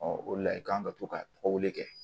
o de la i kan ka to ka tɔgɔ wele